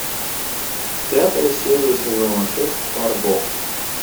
пятая серия сезона шесть фарго